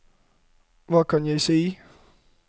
hva kan jeg si